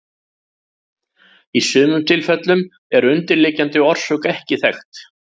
Í sumum tilfellum er undirliggjandi orsök ekki þekkt.